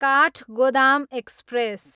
Kathgodam express